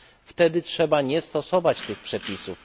wtedy trzeba nie stosować tych przepisów.